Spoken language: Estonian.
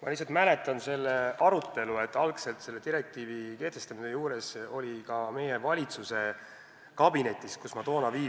Aga ma mäletan seda arutelu, mis enne selle direktiivi ülevõtmist oli valitsuskabinetis, kus ma toona olin.